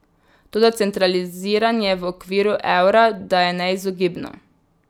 Toda centraliziranje v okviru evra da je neizogibno.